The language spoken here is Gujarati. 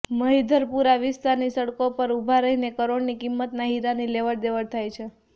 મહિધરપુરા વિસ્તારની સડકો પર ઊભા રહીને કરોડની કિંમતના હીરાની લેવડ દેવડ થાય છે